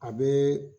A bɛ